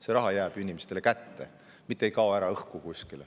See raha jääb inimestele kätte, mitte ei kao kuskile õhku.